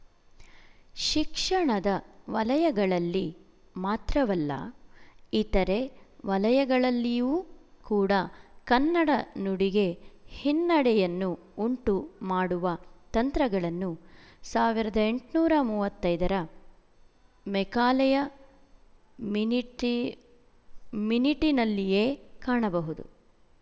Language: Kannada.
ಶಿಕ್ಷಣದ ವಲಯಗಳಲ್ಲಿ ಮಾತ್ರವಲ್ಲ ಇತರೆ ವಲಯಗಳಲ್ಲಿಯೂ ಕೂಡ ಕನ್ನಡ ನುಡಿಗೆ ಹಿನ್ನಡೆಯನ್ನು ಉಂಟು ಮಾಡುವ ತಂತ್ರಗಳನ್ನು ಸಾವಿರದ ಎಂಟುನೂರ ಮೂವತ್ತ್ ಐದರ ಮೆಕಾಲೆಯ ಮಿನಿಟಿ ಮಿನಿಟಿನಲ್ಲಿಯೇ ಕಾಣಬಹುದು